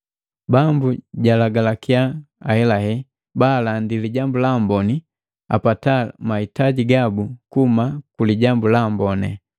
Bambu jalagalakiya ahelahela, baalandi Lijambu la Amboni apataa mahitaji gabu kuhuma ku Lijambu la Amboni.